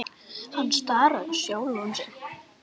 Hann starði á sjálfan sig.